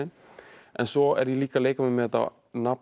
en svo er ég líka að leika mér með þetta nafn